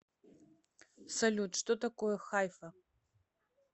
салют что такое хайфа